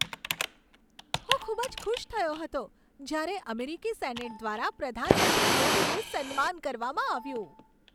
હું ખૂબ જ ખુશ થયો હતો જ્યારે અમેરિકી સેનેટ દ્વારા પ્રધાનમંત્રી મોદીનું સન્માન કરવામાં આવ્યું.